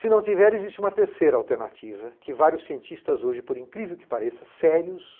Se não tiver, existe uma terceira alternativa que vários cientistas hoje, por incrível que pareça, sérios,